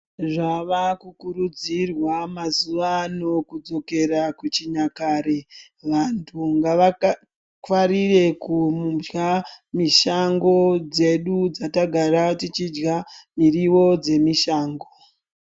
Zvava kurudzirwa mazuwa ano kudzokera kuchinyakare vantu ngava ngwarire kudya mishango dzedu dzatagara tichidya muriwo yemushango.